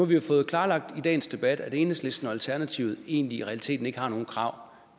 vi jo fået klarlagt i dagens debat at enhedslisten og alternativet i realiteten ikke har nogen krav